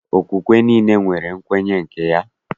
Okpukpe niile nwere nkwenye nke ha.